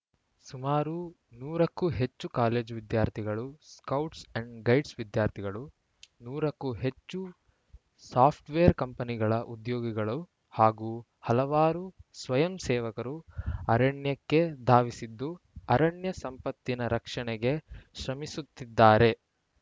ಸುಮಾರು ನೂರ ಕ್ಕೂ ಹೆಚ್ಚು ಕಾಲೇಜು ವಿದ್ಯಾರ್ಥಿಗಳು ಸ್ಕೌಟ್ಸ್‌ ಅಂಡ್‌ ಗೈಡ್ಸ್‌ ವಿದ್ಯಾರ್ಥಿಗಳು ನೂರ ಕ್ಕೂ ಹೆಚ್ಚು ಸಾಫ್ಟ್‌ವೇರ್‌ ಕಂಪನಿಗಳ ಉದ್ಯೋಗಿಗಳು ಹಾಗೂ ಹಲವಾರು ಸ್ವಯಂಸೇವಕರು ಅರಣ್ಯಕ್ಕೆ ಧಾವಿಸಿದ್ದು ಅರಣ್ಯ ಸಂಪತ್ತಿನ ರಕ್ಷಣೆಗೆ ಶ್ರಮಿಸುತ್ತಿದ್ದಾರೆ